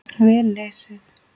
Vel lesið.